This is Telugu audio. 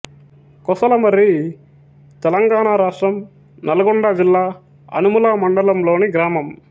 కొసలమర్రి తెలంగాణ రాష్ట్రం నల్గొండ జిల్లా అనుముల మండలంలోని గ్రామం